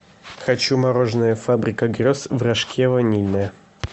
хочу мороженое фабрика грез в рожке ванильное